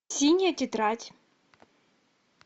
синяя тетрадь